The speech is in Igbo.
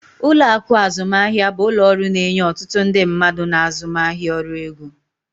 Ụlọ akụ azụmaahịa bụ ụlọ ọrụ na-enye otutu ndị mmadụ na azụmaahịa ọrụ ego.